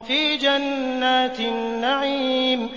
فِي جَنَّاتِ النَّعِيمِ